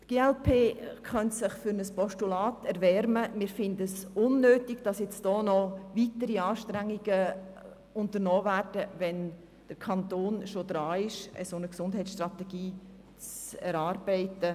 Die glp könnte sich für ein Postulat erwärmen, findet es aber unnötig, noch weitere Anstrengungen zu unternehmen, wenn der Kanton schon dabei ist, eine Gesundheitsstrategie zu erarbeiten.